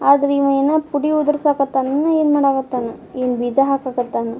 ಆದ್ರೆ ಈವ ಏನೋ ಪುಡಿ ಉದ್ರಸಕತ್ತನ್ನ್ ಏನ್ ಮಾಡಕತ್ತನ ಏನ್ ಬೀಜ ಹಾಕಕತ್ತನ.